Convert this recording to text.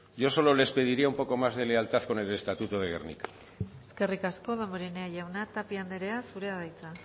yo solo les pediría un poco más de lealtad con el estatuto de gernika eskerrik asko damborenea jauna tapia andrea zurea da hitza